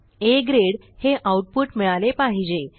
आ grade हे output मिळाले पाहिजे